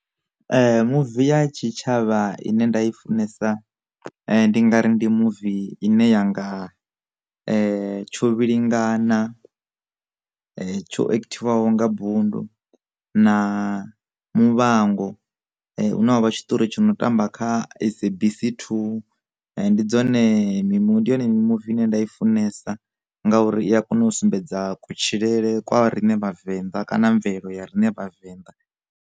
Muvi ya tshitshavha ine nda i funesa ndi nga ri ndi movie ine yanga tshovhilingana tsho ekthiwaho nga bund na muvhango, huna wavha tshitori tshi no tamba kha SABC 2, ndi dzone mimuvi ndi yone mimuvi ine nda i funesa ngauri i a kona u sumbedza kutshilele kwavho rine vhavenḓa kana mvelelo ya rine vhavenḓa.